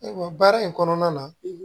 Ayiwa baara in kɔnɔna na